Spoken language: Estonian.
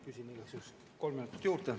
Küsin igaks juhuks kolm minutit juurde.